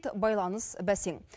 байланыс бәсең